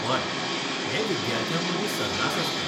हय, हें विद्यार्थ्यांमदीं सर्रास आसता.